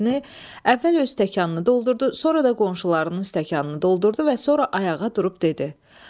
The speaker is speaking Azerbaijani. Əvvəl öz stəkanını doldurdu, sonra da qonşularının stəkanını doldurdu və sonra ayağa durub dedi.